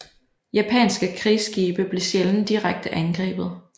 Japanske krigsskibe blev sjældent direkte angrebet